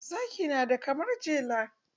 Zaki na da karamar jele.